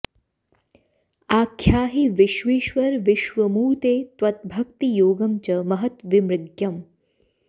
आख्याहि विश्वेश्वर विश्वमूर्ते त्वत् भक्तियोगं च महत् विमृग्यम्